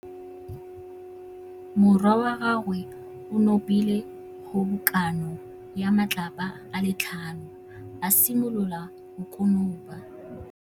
Morwa wa gagwe o nopile kgobokanô ya matlapa a le tlhano, a simolola go konopa.